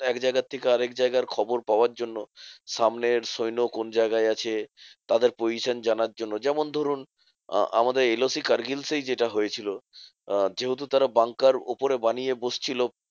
একজায়গার থেকে আরেক জায়গার খবর পাওয়ার জন্য, সামনের সৈন্য কোন জায়গায় আছে? তাদের position জানার জন্য যেমন ধরুন আ~ আমাদের LOC কার্গিল সেই যেটা হয়েছিল, আহ যেহেতু তারা banker উপরে বানিয়ে বসছিলো